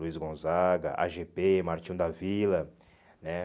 Luiz Gonzaga, á gê pé, Martinho da Vila, né?